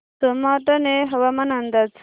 सोमाटणे हवामान अंदाज